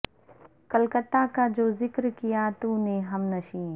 کلکتہ کا جو ذکر کیا تو نے ہم نشیں